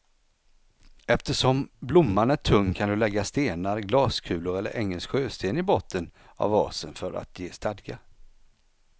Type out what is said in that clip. Eftersom blomman är tung kan du lägga stenar, glaskulor eller engelsk sjösten i botten av vasen för att ge stadga.